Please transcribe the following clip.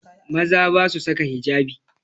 Maza ba su saka hijabi